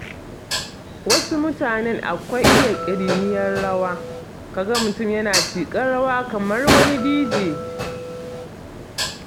Wasu mutanen akwai iya ƙiriniyar rawa, ka ga mutum yana tiƙar rawa kamar wani Dije.